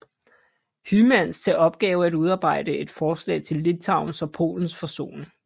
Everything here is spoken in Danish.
Hymans til opgave at udarbejde et forslag til Litauens og Polens forsoning